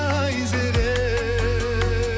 айзере